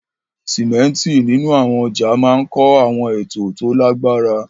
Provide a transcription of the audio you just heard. Símẹ́ńtì nínú àwọn ọjà máa ń kọ́ àwọn ètò tó lágbára.